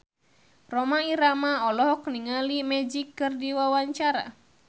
Rhoma Irama olohok ningali Magic keur diwawancara